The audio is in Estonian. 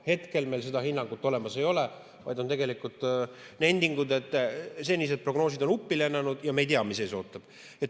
Hetkel meil seda hinnangut olemas ei ole, vaid on nendingud, et senised prognoosid on uppi lennanud ja me ei tea, mis ees ootab.